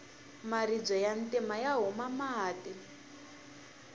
maribye ya ntima ya huma mati